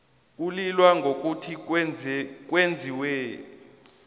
kulilwa ngokuthi kwenziwe